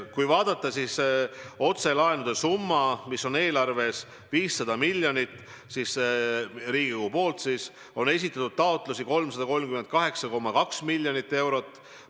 Kui vaadata otselaenude summat, mis on eelarves 500 miljonit Riigikogu eraldatuna, siis taotlusi on esitatud 338,2 miljoni euro saamiseks.